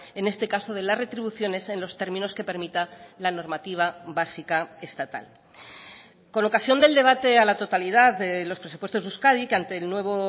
en este caso de las retribuciones en los términos que permita la normativa básica estatal con ocasión del debate a la totalidad de los presupuestos de euskadi que ante el nuevo